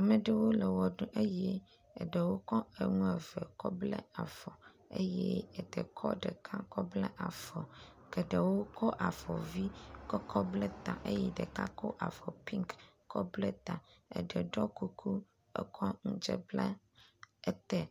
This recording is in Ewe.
Amewo ɖewo le ʋe ɖum eye eɖewo kɔ enu eve kɔ bla afɔ, eɖe kɔ ɖeka kɔ bla afɔ, geɖewo kɔ avɔ vi kɔ bla ta, eye ɖeka kɔ avɔ pink kɔ bla ta, eɖe ɖɔ kuku, ekɔ nu dze kɔ bla etae.